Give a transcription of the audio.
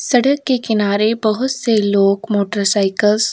सड़क के किनारे बहुत सारे लोग मोटरसाइकिलस --